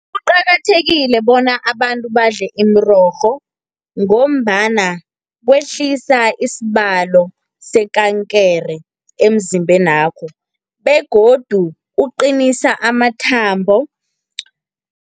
Kuqakathekile bona abantu badle imirorho, ngombana kwehlisa isibalo sekankere emzimbenakho, begodu uqinisa amathambo.